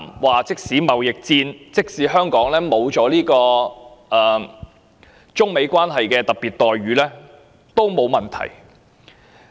他說道，即使香港因為貿易戰而在中美關係中失去特別待遇，亦沒有問題。